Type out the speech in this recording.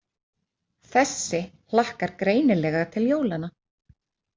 Þessi hlakkar greinilega til jólanna.